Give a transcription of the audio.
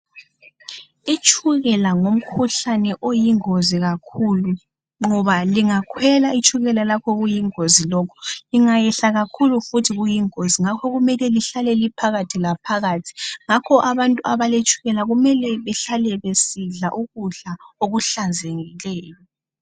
Itshukela ngumkhuhlane oyingozi kakhulu ngoba lingakhwela itshukela lakho kuyingozi lokhu lingayehla kakhulu futhi kuyingozi ngakho kumele lihlale liphakathilaphakathi ngakho abantu abaletshukela kumele bahlale besidla ukudla okuhlanzekileyo